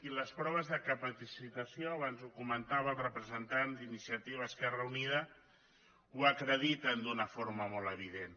i les proves de capacitació abans ho comentava el representant d’iniciativa esquerra unida ho acrediten d’una forma molt evident